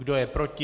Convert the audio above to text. Kdo je proti?